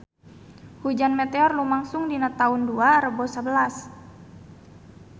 Hujan meteor lumangsung dina taun dua rebu sabelas